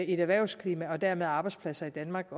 et erhvervsklima og dermed arbejdspladser i danmark